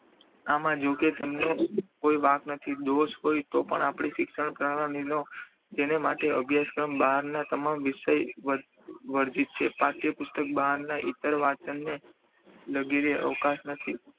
આવા જોકે તેમનો કોઈ વાંક નથી દોષ હોય તો પણ આપણે શિક્ષણ જેને માટે અભ્યાસક્રમ બહારના તમામ વિશ્વ વર્જિત છે. પાઠ્યપુસ્તક બહારના ઇતરવાચનને વગેરે અવકાશ નથી.